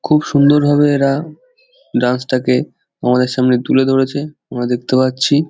খুব সুন্দর ভাবে এরা ডান্স টাকে আমাদের সামনে তুলে ধরেছে আমরা দেখতে পাচ্ছি।